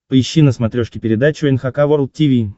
поищи на смотрешке передачу эн эйч кей волд ти ви